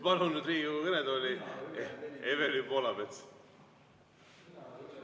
Palun Riigikogu kõnetooli Evelin Poolametsa!